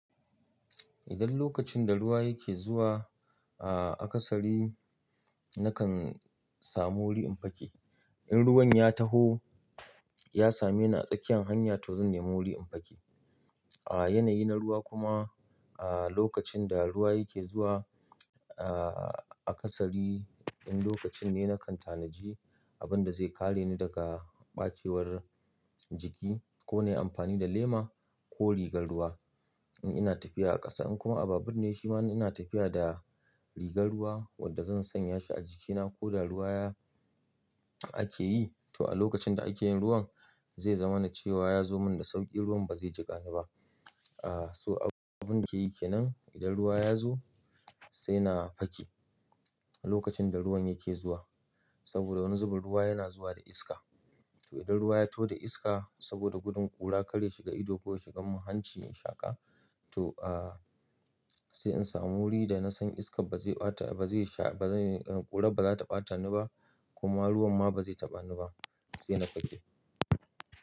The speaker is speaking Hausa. Idan lokacin da ruwa yake zuwa a kasari nakan samu wuri in fake. In ruwan ya taho, ya same ni a tsakiyan hanya to zan nemi wuri in fake A yanayi na ruwa kuma a lokacin da ruwa yake zuwa a kasari, in lokacin ne nakan tanaji abin da zai kare ni daga ɓacewar jiki ko na yi amfani da lema ko rigar ruwa. In ina tafiya a ƙasa in kuma abun ne shi ma ina tafiya da rigar ruwa wadda zan sanya shi a jikina ko da ruwa yake ake yi to a lokacin da ake yin ruwan zai zama na cewa ya zo mun da sauƙi ruwan ba zai jiƙa ni ba., so abun yake yi kenan idan ruwa ya zo sai na fake a lokacin da ruwan yake zuwa. Saboda wani zuben ruwa yana zuwa da iska. To idan ruwa ya to da iska saboda gudun ƙura karya shiga ido ko shiga muhanci in shaƙa to, sai in samu wuri da na san iskar ba zai ɓata, ba zai sha, ba zai, ƙura ba za ta ɓata ni ba kuma ruwan ma ba zai taɓa ni ba sai na fake.